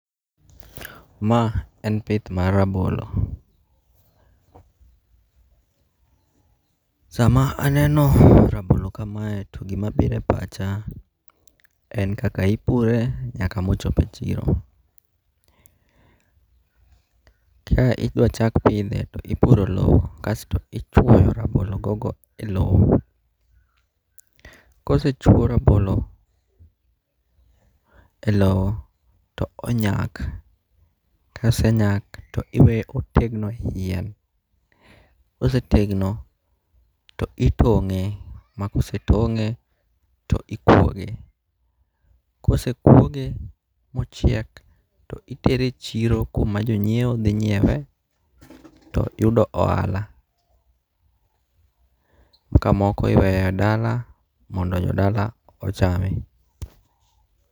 Ma en pith mar rabolo, sama aneno rabolo kamae to gima biro e pacha en kaka ipure nyaka ma ochope chiro, kaka idwachak pithe to ipuro lowo kasto ichuoyo rabologogo e lowo, kose chuo rabolo e lowo to onyak, kosenyak to iweye otegno e yien kosetegno to itonge' ma kosetonge' to ikwoge, kosekwoge mochiek to itere i chiro kuma jonyiewo thi nyiewe to yudo ohala, ka moko oweyo e dala mondo jodala ochame.